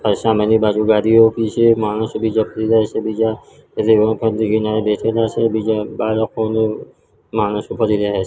અ સામેની બાજુ ગાડીઓ ઉભી છે માણસો બીજા ફરી રહ્યા છે બીજા બેઠેલા છે બીજા બાળકો ને માણસો ફરી રહ્યા છે.